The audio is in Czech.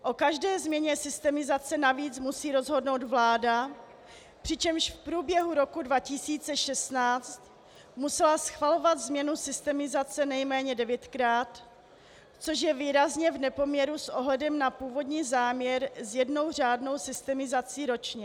O každé změně systemizace navíc musí rozhodnout vláda, přičemž v průběhu roku 2016 musela schvalovat změnu systemizace nejméně devětkrát, což je výrazně v nepoměru s ohledem na původní záměr s jednou řádnou systemizací ročně.